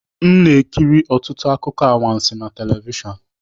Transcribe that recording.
M na-ekiri ọtụtụ akụkọ anwansi na telivishọn